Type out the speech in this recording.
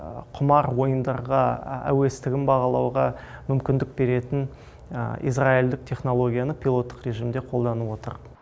құмар ойындарға әуестігін бағалауға мүмкіндік беретін израильдік технологияны пилоттық режимде қолданып отыр